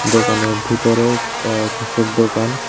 দোকানের ভিতরে অ্যা কিসের দোকান।